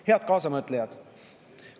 Head kaasamõtlejad!